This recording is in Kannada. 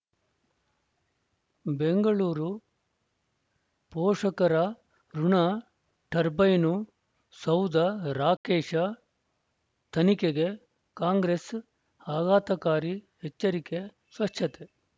ಬೆಂಗಳೂರು ಪೋಷಕರಋಣ ಟರ್ಬೈನು ಸೌಧ ರಾಕೇಶ ತನಿಖೆಗೆ ಕಾಂಗ್ರೆಸ್ ಆಘಾತಕಾರಿ ಎಚ್ಚರಿಕೆ ಸ್ವಚ್ಛತೆ